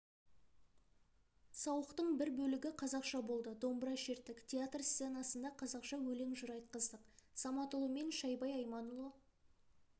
сауықтың бір бөлігі қазақша болды домбыра шерттік театр сценасында қазақша өлең-жыр айтқыздық саматұлы мен шайбай айманұлы